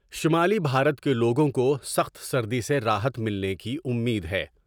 شمالی بھارت کے لوگوں کو سخت سردی سے راحت ملنے کی امید ہے۔